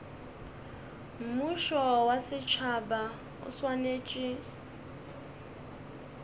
mmušo wa setšhaba o swanetše